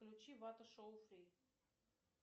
включи вата шоу три